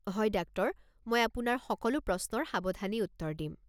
হয় ডাক্টৰ! মই আপোনাৰ সকলো প্ৰশ্নৰ সাৱধানেই উত্তৰ দিম।